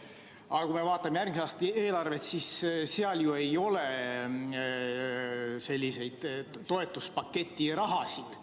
Aga kui me vaatame järgmise aasta eelarvet, siis seal ei ole selliseid toetuspaketi rahasid.